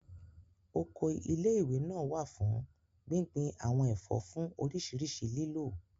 Oko ilé ìwé náà wà fún gbíngbin àwọn ẹ̀fọ́ fún oríṣiríṣi lílò